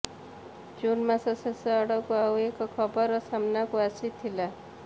ଜୁନ ମାସ ଶେଷ ଆଡକୁ ଆଉ ଏକ ଖବର ସାମ୍ନାକୁ ଆସିଥିଲା